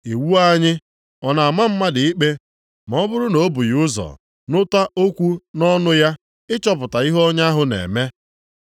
“Iwu anyị ọ na-ama mmadụ ikpe, ma ọ bụrụ na o bụghị ụzọ nụta okwu nʼọnụ ya, ịchọpụta ihe onye ahụ na-eme?”